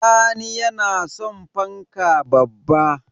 Sani yana son fanka babba